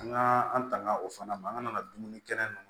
An ka an tanga o fana ma an ka na dumuni kɛnɛ ninnu